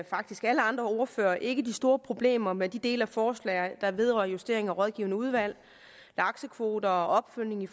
faktisk alle andre ordførere ikke de store problemer med de dele af forslaget der vedrører justering af rådgivende udvalg laksekvoter og opfølgning i